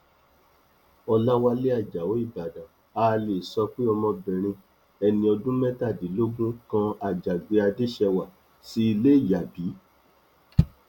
ọlàwálẹ ajáò ìbàdàn a wá lè sọ pé ọmọbìnrin ẹni ọdún mẹtàdínlógún kan àjàgbé adéṣèwá sí ilé yá bí